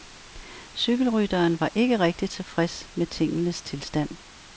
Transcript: Cykelrytteren var ikke rigtigt tilfreds med tingenes tilstand.